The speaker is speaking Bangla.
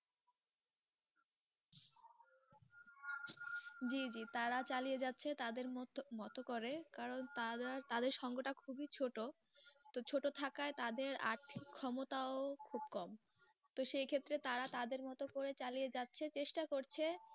জি জি তারা চালিয়ে যাচ্ছে তাদের মতো~মতো করে, কারণ তারা, তাদের সঙ্গটা খুবই ছোট, তাই ছোটো থাকায় তাদের আথিক ক্ষমতাও খুব কম, তো সেই ক্ষেত্রে তারা তাদের মতো করে চালিয়ে যাচ্ছে চেষ্টা করছে।